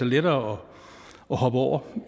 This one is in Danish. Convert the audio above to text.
lettere at hoppe over